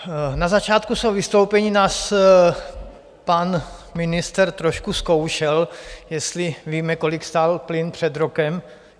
Na začátku svého vystoupení nás pan ministr trošku zkoušel, jestli víme, kolik stál plyn před rokem.